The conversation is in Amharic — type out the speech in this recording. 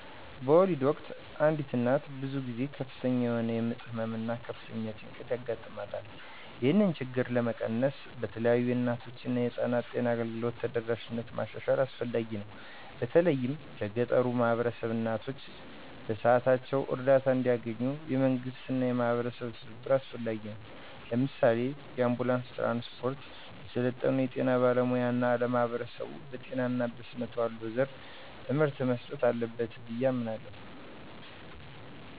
በወሊድ ወቅት አንዲት እናት ብዙ ጊዜ ከፍተኛ የሆነ የምጥ ህመም እና ከፍተኛ ጭንቀት ያጋጥማታል። ይህንን ችግር ለመቀነስ በተለይ የእናቶችና የህፃናት ጤና አገልግሎት ተደራሽነትን ማሻሻል አስፈላጊ ነው፤ በተለይም ለገጠሩ ማህበረሰቦች። እናቶች በሰዓታቸው እርዳታ እንዲያገኙ፣ የመንግስትና የማህበረሰብ ትብብር አስፈላጊ ነው። ለምሳሌ፣ የአንቡላንስ ትራንስፖርት፣ የሰለጠኑ የጤና ባለሙያዎች እና ለማህበረሰቡ በጤና እና በስነ ተዋልዶ ዘርፍ ትምህርት መስጠት አለበት ብዬ አምናለሁ።